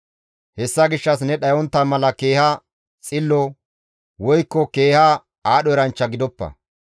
Hessa gishshas ne dhayontta mala keeha xillo, woykko keeha aadho eranchcha gidoppa.